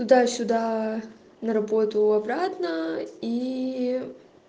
дай сюда на работу обратно и